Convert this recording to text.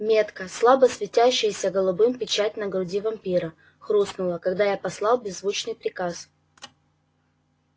метка слабо светящаяся голубым печать на груди вампира хрустнула когда я послал беззвучный приказ